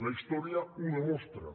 la història ho demostra